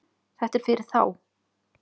Þetta er fyrir þá